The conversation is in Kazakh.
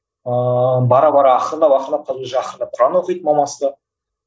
ыыы бара бара ақырындап ақырындап қазір уже ақырындап құран оқиды мамасы да